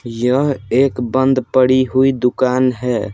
यह एक बंद पड़ी हुई दुकान है।